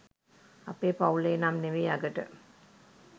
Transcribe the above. අපේ පවුලේ නම් නමේ අගට.